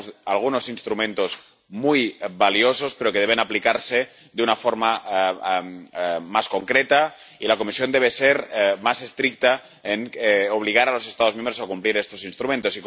Tenemos algunos instrumentos muy valiosos, pero deben aplicarse de una forma más concreta, y la Comisión debe ser más estricta en obligar a los Estados miembros a cumplir estos instrumentos.